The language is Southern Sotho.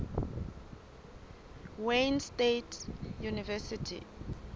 wayne state university